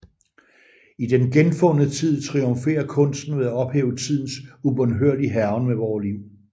I Den genfundne tid triumferer kunsten ved at ophæve tidens ubønhørlige hærgen med vore liv